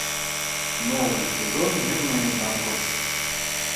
новый сезон мир наизнанку